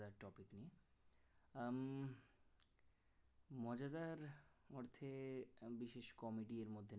আমি মজাদার অর্থে এক বিশেষ comedy র মতন।